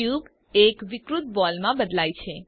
cube એક વિકૃત ball માં બદલાય છે